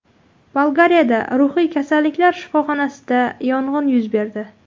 Bolgariyadagi ruhiy kasalliklar shifoxonasida yong‘in yuz berdi.